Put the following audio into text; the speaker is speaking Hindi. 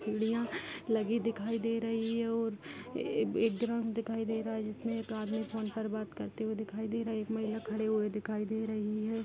सीडियाँ लगी दिखाई दे रही और एक ड्राम दिखाई दे रहा है जिसमे एक आदमी फोन पर बात करते हुए दिखाई दे रहा है एक महिला खड़ी हुई दिखाई दे रही है।